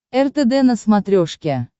ртд на смотрешке